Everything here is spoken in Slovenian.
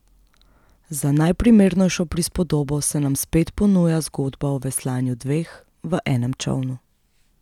Za najprimernejšo prispodobo se nam spet ponuja zgodba o veslanju dveh v enem čolnu.